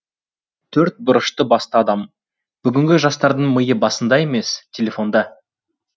төрт бұрышты басты адам бүгінгі жастардың миы басында емес телефонда